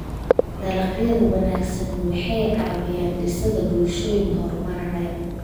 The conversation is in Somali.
Dalagyada wanaagsani waxay caawiyaan dhisidda bulshooyin horumaraya.